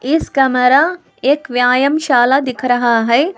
इस कमरा एक व्यायाम शाला दिख रहा है।